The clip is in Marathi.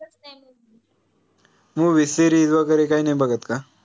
movieSeries वगैरे काही नाई बघत का?